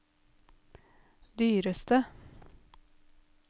dyreste